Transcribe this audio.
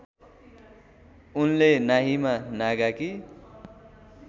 उनले नाहिमा नागाकी